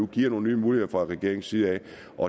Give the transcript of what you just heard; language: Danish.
gives nogle nye muligheder fra regeringens side